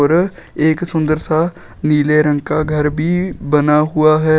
और एक सुंदर सा नीले रंग का घर भी बना हुआ है।